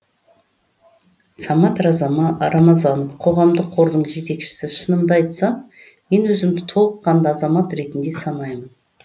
самат рамазанов қоғамдық қордың жетекшісі шынымды айтсам мен өзімді толыққанды азамат ретінде санаймын